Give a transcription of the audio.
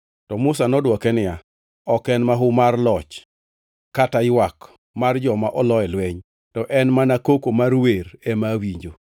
To Musa nodwoke niya, “Ok en mahu mar loch kata ywak mar joma olo e lweny; to en mana koko mar wer ema awinjo.”